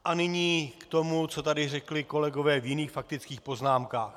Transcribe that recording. A nyní k tomu, co tady řekli kolegové v jiných faktických poznámkách.